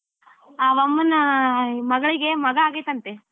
ಅವಮ್ಮನ ಮಗಳಿಗೆ ಮಗಾ ಆಗೇತoತೆ.